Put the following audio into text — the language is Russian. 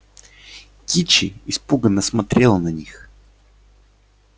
кичи испуганно смотрела на них